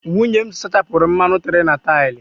Nwunye m sachapụrụ mmanụ tere na taịlụ.